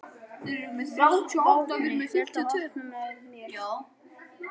Vápni, viltu hoppa með mér?